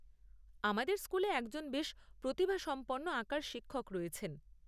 আমাদের স্কুলে একজন বেশ প্রতিভাসম্পন্ন আঁকার শিক্ষক রয়েছেন।